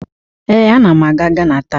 Ee, anam aga Gana taa.